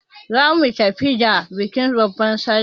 Za muyi tafiya da bikin babban sallah.